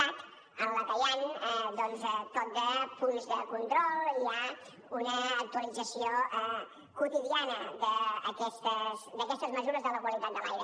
cat en què hi han tot de punts de control i hi ha una actualització quotidiana d’aquestes mesures de la qualitat de l’aire